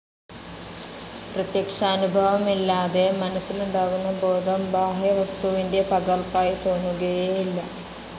പ്രത്യക്ഷാനുഭവമില്ലാതെ, മനസ്സിലുണ്ടാകുന്ന ബോധം ബാഹ്യവസ്തുവിന്റെ പകർപ്പായി തോന്നുകയേയില്ല.